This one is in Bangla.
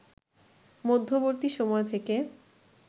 মধ্যবর্তী সময় থেকে